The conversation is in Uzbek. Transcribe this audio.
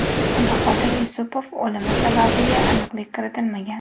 Bahodir Yusupov o‘limi sababiga aniqlik kiritilmagan.